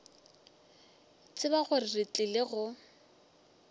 tseba gore re tlile go